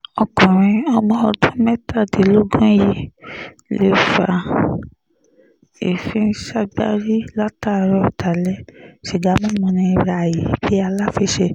ọkùnrin ọ̀mọ̀ọ́dún mẹ́tàdínlógún yìí lè fa èéfín ságbárí látààárọ̀ dalẹ̀ sìgá mímu ní ràì bíi aláfiṣe